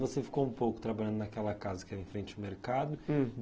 Você ficou um pouco trabalhando naquela casa que era em frente ao mercado.